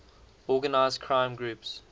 organized crime groups